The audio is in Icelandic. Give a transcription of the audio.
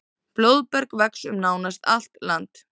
Blóðberg vex um nánast allt land.